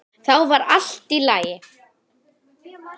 Þá var allt í lagi.